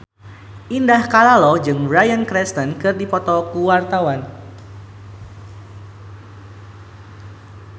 Indah Kalalo jeung Bryan Cranston keur dipoto ku wartawan